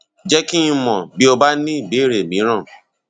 jẹ kí n mọ bí o bá ní ìbéèrè mìíràn